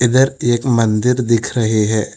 इधर एक मंदिर दिख रही है।